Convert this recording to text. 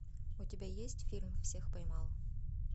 у тебя есть фильм всех поймал